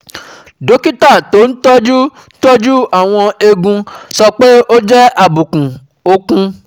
Dókítà tó ń tọ́jú tọ́jú àwọn eegun sọ pé ó jẹ́ àbùkù okùn